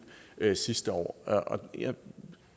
sidste år og